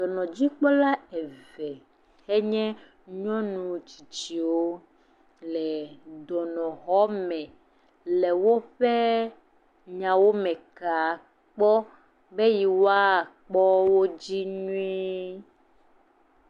Dɔnɔdzikpɔla eve enye nyɔnu tsitsiwo le dɔnɔxɔme le woƒe nyawo me ka kpɔ be yewoakpɔ wo dzi nyui.